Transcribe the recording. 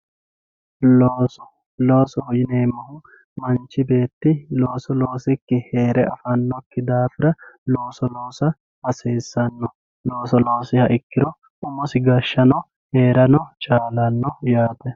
Looso, loosoho yineemmohu manchi beetti looso loosikkini heere afanokkihura looso loossa hasiisano ,looso loosiha ikkiro umosi gashshano heerano chalano yaate.